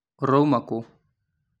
Ũrauma kũũ?